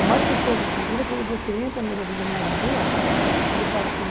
O mais gostoso do futuro é quando você entra numa determinada rua, ele fala assim...